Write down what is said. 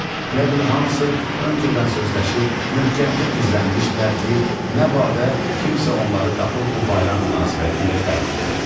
Elə bil hamısı öncədən sözləşib möhkəmcə gizlənmişdilər ki, nə badə, kimsə onları tapıb bu bayram münasibətilə təbrik edə bilsin.